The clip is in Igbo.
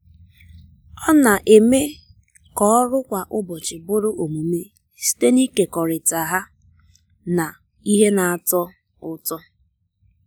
ọ na-eme ka ọrụ kwa ụbọchị bụrụ omume site n’ịkekọrịta ha na ihe na-atọ ụtọ.